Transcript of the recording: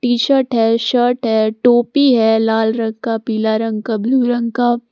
T shirt है shirt है टोपी है लाल रंग का पीला रंग का ब्लू रंग का।